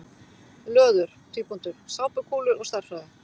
Löður: Sápukúlur og stærðfræði.